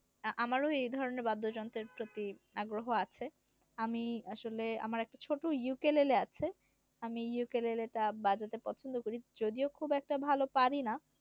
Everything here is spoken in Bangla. আমারও এধরণের বাদ্যযন্ত্রের প্রতি আগ্রহ আছে আমি আসলে আমার একটা ছোট ইউকেলেলে আছে আমি ইউকেলেলে টা বাজাতে পছন্দ করি যদিও খুব একটা ভালো পারিনা